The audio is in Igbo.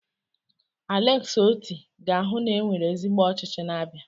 Aleksi Oti ga-ahụ na e nwere ezigbo ọchịchị n'Abia.